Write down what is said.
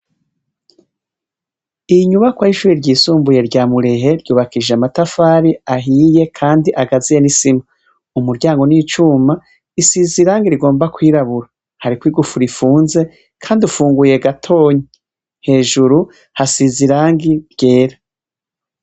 Inyubakwa y'ishure ryisumbuye rya Murehe, yubakishije amatafari ahiye kandi agaziye n'isima. Umuryango ni icuma, usize irangi rigomba kwirabura. Hariko igufuri ifunze, kandi ufunguye gatonya. Hejuru hasize irangi ryera.